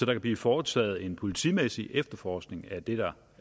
kan blive foretaget en politimæssig efterforskning af det der